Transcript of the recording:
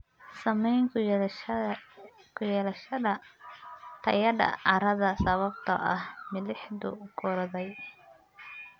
Saamayn ku yeelashada tayada carrada sababtoo ah milixdu korodhay.